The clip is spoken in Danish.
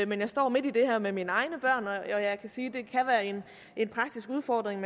men jeg står midt i det her med mine egne børn og jeg kan sige at det kan være en en praktisk udfordring